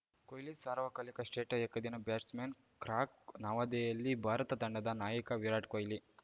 ಕೊಹ್ಲಿ ಸಾರ್ವಕಾಲಿಕ ಶ್ರೇಷ್ಠ ಏಕದಿನ ಬ್ಯಾಟ್ಸ್‌ಮನ್‌ ಕ್ರಾಕ್ ನವದೆಹಲಿ ಭಾರತ ತಂಡದ ನಾಯಕ ವಿರಾಟ್‌ ಕೊಹ್ಲಿ